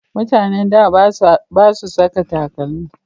Mutanen da ba su saka takalmi